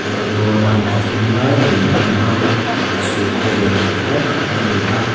merry go round pathum lai mai a lang a ah chhun khaw en that lai tak ani a.